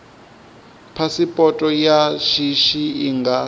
phasipoto ya shishi i nga